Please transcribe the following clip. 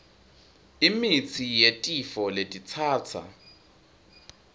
imitsi yetifo letitsatsa